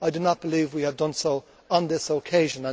I do not believe we have done so on this occasion.